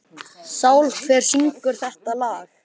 Benna, hvaða stoppistöð er næst mér?